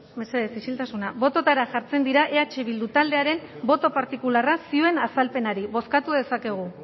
mesedez isiltasuna bototara jartzen dira eh bildu taldearen boto partikularra zioen azalpenari bozkatu dezakegu